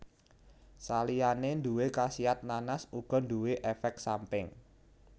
Saliyane nduwé khasiat nanas uga nduwe éfék samping